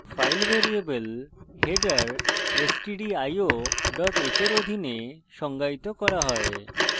file variable header stdio h এর অধীনে সংজ্ঞায়িত করা হয়